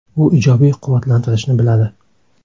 U ijobiy quvvatlantirishni biladi!